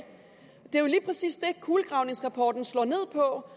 det er lige præcis det kulegravningsrapporten slår ned på